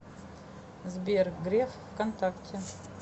сбер греф вконтакте